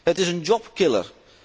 Het is een job killer